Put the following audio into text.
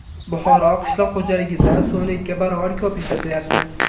Buxoro qishloq xo‘jaligida suvni ikki barobar ko‘p ishlatyapti.